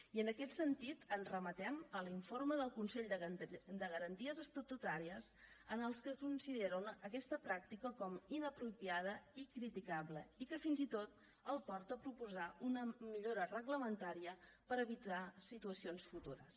i en aquest sentit ens remetem a l’informe del consell de garanties estatutàries en els que considera aquesta pràctica com a inapropiada i criticable i que fins i tot el porta a proposar una millora reglamentària per evitar situacions futures